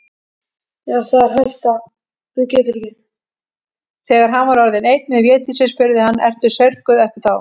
Þegar hann var orðinn einn með Védísi spurði hann:-Ertu saurguð eftir þá.